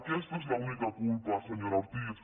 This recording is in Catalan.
aquesta és l’única culpa senyora ortiz